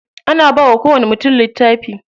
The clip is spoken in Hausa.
Ana bawa kowani mutum littafi.